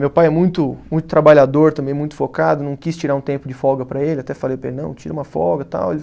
Meu pai é muito muito trabalhador também, muito focado, não quis tirar um tempo de folga para ele, até falei para ele, não, tira uma folga e tal.